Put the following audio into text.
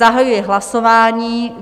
Zahajuji hlasování.